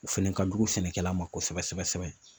O fɛnɛ ka jugu sɛnɛkɛla ma kosɛbɛ sɛbɛ sɛbɛ.